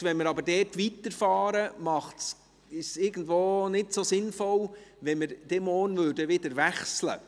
Wenn wir aber damit weiterfahren, ist es nicht so sinnvoll, morgen dann wieder zu wechseln.